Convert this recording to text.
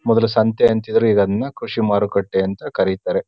ಮೊದ್ಲು ಸಂತ್ಯೆ ಅಂತಿದ್ರು ಈಗ ಅದ್ನ ಕೃಷಿ ಮಾರುಕಟ್ಟೆ ಅಂತ ಕರೀತಾರೆ.